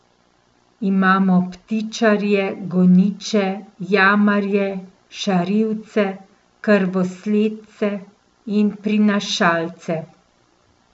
Imamo ptičarje, goniče, jamarje, šarivce, krvosledce in prinašalce.